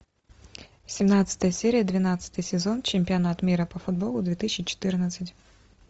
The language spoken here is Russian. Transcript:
семнадцатая серия двенадцатый сезон чемпионат мира по футболу две тысячи четырнадцать